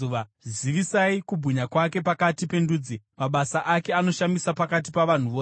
Zivisai kubwinya kwake pakati pendudzi, mabasa ake anoshamisa pakati pavanhu vose.